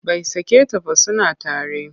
Bai sake ta ba suna tare.